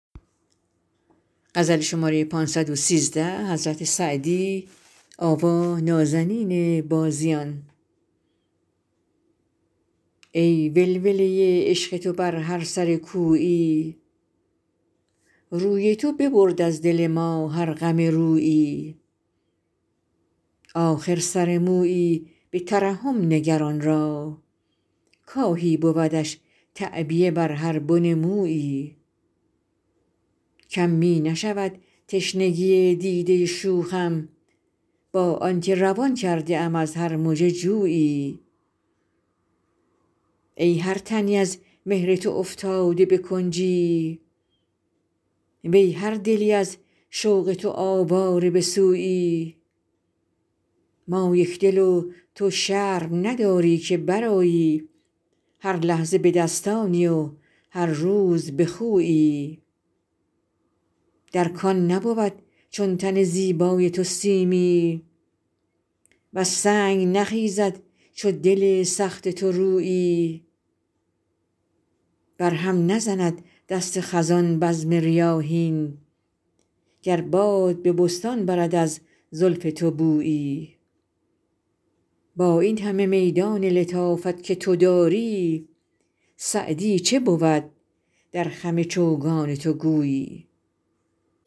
ای ولوله عشق تو بر هر سر کویی روی تو ببرد از دل ما هر غم رویی آخر سر مویی به ترحم نگر آن را کآهی بودش تعبیه بر هر بن مویی کم می نشود تشنگی دیده شوخم با آن که روان کرده ام از هر مژه جویی ای هر تنی از مهر تو افتاده به کنجی وی هر دلی از شوق تو آواره به سویی ما یکدل و تو شرم نداری که برآیی هر لحظه به دستانی و هر روز به خویی در کان نبود چون تن زیبای تو سیمی وز سنگ نخیزد چو دل سخت تو رویی بر هم نزند دست خزان بزم ریاحین گر باد به بستان برد از زلف تو بویی با این همه میدان لطافت که تو داری سعدی چه بود در خم چوگان تو گویی